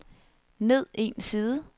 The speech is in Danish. ned en side